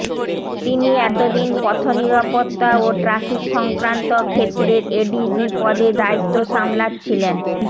তিনি এতদিন পথনিরাপত্তা ও ট্রাফিক সংক্রান্ত ক্ষেত্রের এডিজি পদের দায়িত্ব সামলাচ্ছিলেন